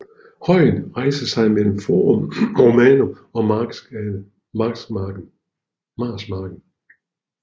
Højen rejser sig mellem Forum Romanum og Marsmarken